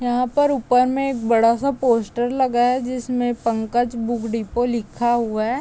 यहाँ पर ऊपर में एक बड़ा सा पोस्टर लगा है जिसमें पंकज बुक डिपो लिखा हुआ है।